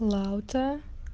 лаута